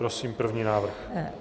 Prosím první návrh.